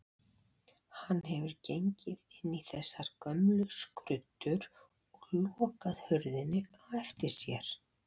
Hann hefur gengið inn í þessar gömlu skruddur og lokað hurðinni á eftir sér.